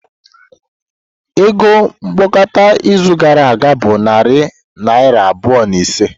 Ego mkpokọta izu gara aga bụ narị naira abụọ na ise.